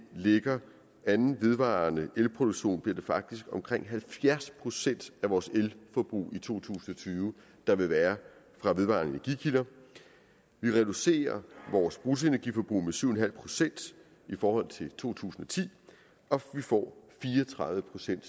lægger anden vedvarende elproduktion bliver det faktisk omkring halvfjerds procent af vores elforbrug i to tusind og tyve der vil være fra vedvarende energikilder vi reducerer vores bruttoenergiforbrug med syv en halv procent i forhold til to tusind og ti og vi får fire og tredive procent